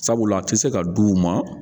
Sabula a tɛ se ka d'u ma.